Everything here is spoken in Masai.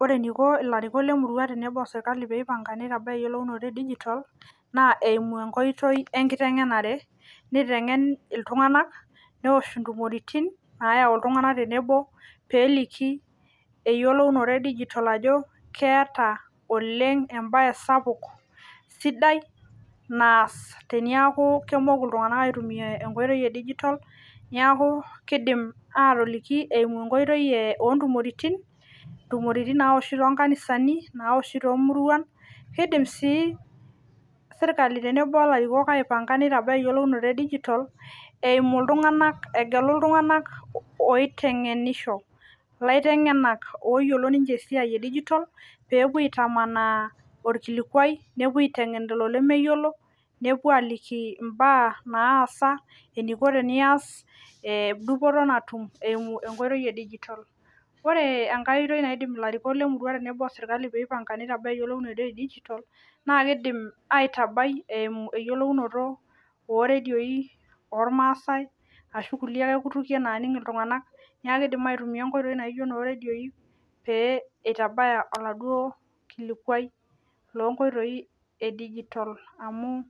Ore eneiko ilarikok lemurua tenebo osirkali peipanga neitabaya eyiolounoto e digital naa eimuu enkoitoi enkiteng'enare neiteng'en iltung'anak newosh intumoritin naayau iltung'anak tenebo peeliki eyiolounoto e digital ajo keeta oleng embaye sapuk sidai naas tenemoku iltung'anak aitumiya enkoitoi e digital neeku keidim aatoliki eiku enkoitoi oontokitin naoshi toonkanisani toomuruan keidim serkali tenebo olarikok aibanga eyiolounoto e digital eimu iltung'anak egelu iltung'anak oiteng'enisho laiteng'enak ooyiolo ninche esia e digital peepuo aitamanaa orkilikuai nepuo aiteng'en lelo lemeyiolo nepuo aaliki imbaa naasa eniko tenias ee dupoto natum eimu enkoitoi e digital ore enkae oitoi nindiim ilarikok le sirkali tenebo pietabaya eyiolounoto e digital naa keidim aitabai eeimu eyiolounoto ooredioi oormaasai ashu kulie aks kutukie naaning iltung'anak neeku keidim aitumiya inkulie oitoi naaijio inooredioi pee ietabaya oladuo kilikuai loonkoitoi e digital amu